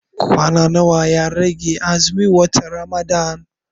Kwana nawa ya rage azumin watan Ramadan?